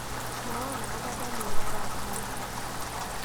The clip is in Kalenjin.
Mwawon agobo daniel arap moi